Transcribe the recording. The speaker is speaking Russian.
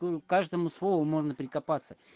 к каждому слову можно прикопаться